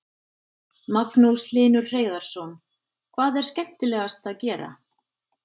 Magnús Hlynur Hreiðarsson: Hvað er skemmtilegast að gera?